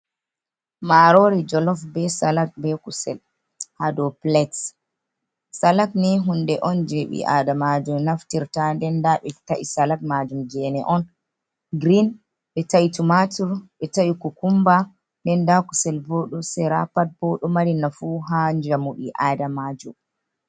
Marori jolof, be salad, be kusel haa dow pilat. Salad ni hunde on je ɓi adamajo naftirta nden nda ɓe ta'i salad majum gene on girin, ɓe ta'i tumatur, ɓe ta'i kukumba, nden nda kusel bo ɗo sera. Pat bo ɗo mari nafu haa njamu ɓi adamajo.